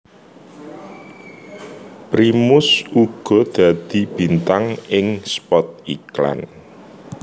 Primus uga dadi bintang ing spot iklan